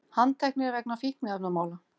Handteknir vegna fíkniefnamála